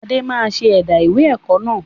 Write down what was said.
Adé máa ṣe ẹ̀dá ìwé ẹ̀kọ́ náà